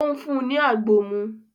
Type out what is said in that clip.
Ó ń fún un ní àgbo mú